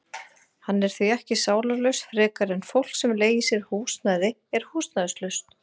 Hann er því ekki sálarlaus frekar en fólk sem leigir sér húsnæði er húsnæðislaust.